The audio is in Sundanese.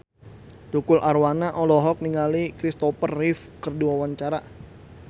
Tukul Arwana olohok ningali Kristopher Reeve keur diwawancara